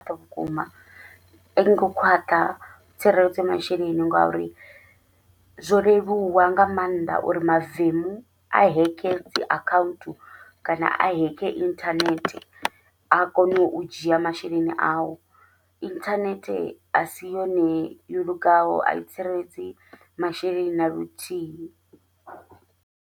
Vhukuma aingo khwaṱha tsireledzo masheleni, ngauri zwo leluwa nga maanḓa uri mavemu a heke dzi akhaunthu kana a heke inthanethe, a kone u dzhia masheleni au inthanethe asi yone yo lugaho ai tsireledzi masheleni naluthihi.